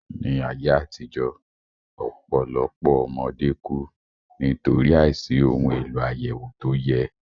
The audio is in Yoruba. Ní ayé àtijó, ọpọlọpoọ ọmọdé ku\ ni\tòrí àìsí ohun èlò àyẹ̀wò tó yẹ